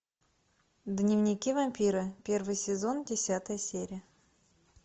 дневники вампира первый сезон десятая серия